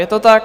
Je to tak?